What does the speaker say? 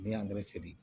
N'i y'angɛrɛ se